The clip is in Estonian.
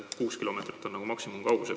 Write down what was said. Kuus kilomeetrit on maksimumkaugus.